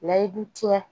Layidu tiɲɛ